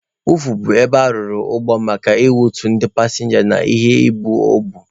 Wọọfụ bụ ebe arụrụ ụgbọ maka ị kwọtu ndị pasịnja ya na ibu o bu.